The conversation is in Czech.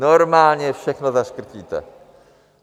Normálně všechno zaškrtíte.